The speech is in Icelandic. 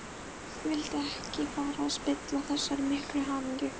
Vildi ekki fara að spilla þessari miklu hamingju.